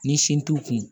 Ni sin t'u kun